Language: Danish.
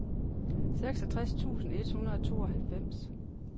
seksogtres tusind et hundrede og tooghalvfems